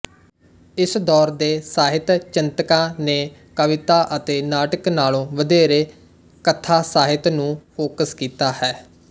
ਇਸ ਦੌਰ ਦੇ ਸਾਹਿਤਚਿੰਤਕਾਂ ਨੇ ਕਵਿਤਾ ਅਤੇ ਨਾਟਕ ਨਾਲੋਂ ਵਧੇਰੇ ਕਥਾਸਾਹਿਤ ਨੂੰ ਫੋਕਸ ਕੀਤਾ ਹੈ